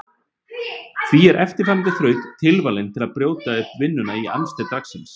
Því er eftirfarandi þraut tilvalin til að brjóta upp vinnuna í amstri dagsins.